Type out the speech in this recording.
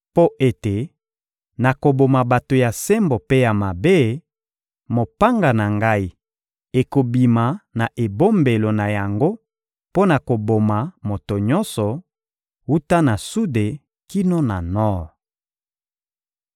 Mpo ete nakoboma bato ya sembo mpe ya mabe, mopanga na Ngai ekobima na ebombelo na yango mpo na koboma moto nyonso, wuta na sude kino na nor.